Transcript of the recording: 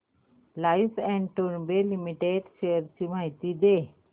Larsen and टुर्बो limited shares ची माहिती दे